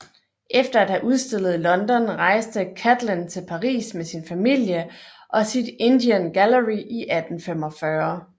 Efter at have udstillet i London rejste Catlin til Paris med sin familie og sit Indian Gallery i 1845